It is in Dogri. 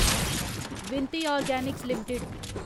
विनती ऑर्गेनिक्स लिमिटेड